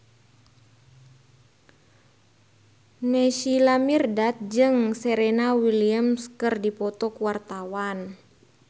Naysila Mirdad jeung Serena Williams keur dipoto ku wartawan